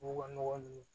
U ka nɔgɔ nunnu